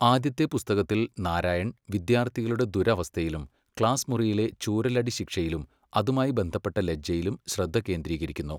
ആദ്യത്തെ പുസ്തകത്തിൽ നാരായൺ വിദ്യാർത്ഥികളുടെ ദുരവസ്ഥയിലും, ക്ലാസ് മുറിയിലെ ചൂരലടിശിക്ഷയിലും, അതുമായി ബന്ധപ്പെട്ട ലജ്ജയിലും ശ്രദ്ധ കേന്ദ്രീകരിക്കുന്നു.